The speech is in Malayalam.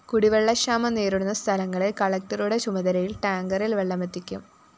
കുടിവെള്ളക്ഷാമം നേരിടുന്ന സ്ഥലങ്ങളില്‍ കളക്ടറുടെ ചുമതലയില്‍ ടാങ്കറില്‍ വെള്ളമെത്തിക്കും